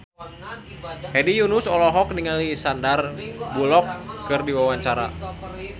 Hedi Yunus olohok ningali Sandar Bullock keur diwawancara